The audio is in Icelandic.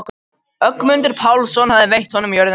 Ögmundur Pálsson hafði veitt honum jörðina.